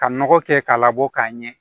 Ka nɔgɔ kɛ k'a labɔ k'a ɲɛ